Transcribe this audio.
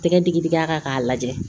Tɛgɛ digi digi a kan k'a lajɛ